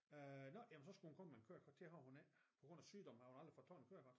Øh nå men så skulle hun komme med et kørekort det har hun ikke på grund af sygdom har hun aldrig fået taget et kørekort